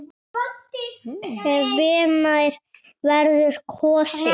Hvenær verður kosið?